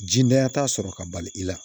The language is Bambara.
Jidanya t'a sɔrɔ ka bali i la